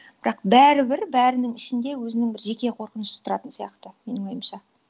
бірақ бәрібір бәрінің ішінде өзінің бір жеке қорқынышы тұратын сияқты менің ойымша